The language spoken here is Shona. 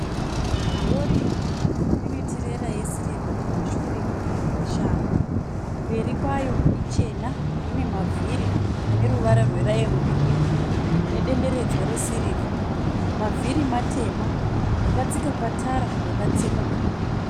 Rori rinetirera yesirivha kumashure yakashama mberi kwayo ichena ine mavhiri ane ruvara rweraimu girinhi nedenderedzwa resirivha. Mavhiri matema. Yakatsika patara yakatsemuka